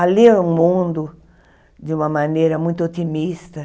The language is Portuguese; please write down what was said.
A ler o mundo de uma maneira muito otimista.